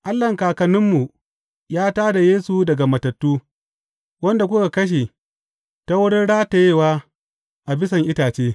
Allahn kakanninmu ya tā da Yesu daga matattu, wanda kuka kashe ta wurin ratayewa a bisan itace.